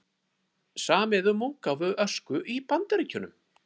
Samið um útgáfu Ösku í Bandaríkjunum